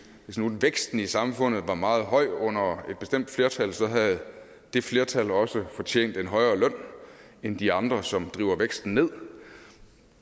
nu væksten i samfundet var meget høj under et bestemt flertal så havde det flertal også fortjent en højere løn end de andre som driver væksten nedad